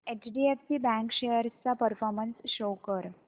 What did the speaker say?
HDFC bank shares चा performance show कर